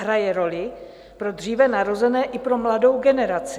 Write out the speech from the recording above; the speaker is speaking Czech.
Hraje roli pro dříve narozené i pro mladou generaci.